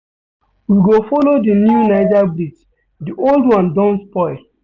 We go folo di new Niger bridge di old one don spoil.